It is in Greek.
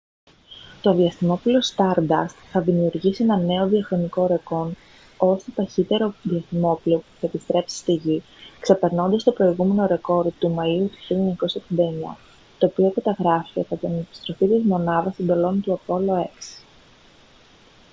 το διαστημόπλοιο stardust θα δημιουργήσει ένα νέο διαχρονικό ρεκόρ ως το ταχύτερο διαστημόπλοιο που θα επιστρέψει στη γη ξεπερνώντας το προηγούμενο ρεκόρ του μαΐου του 1969 το οποίο καταγράφηκε κατά την επιστροφή της μονάδας εντολών του apollo x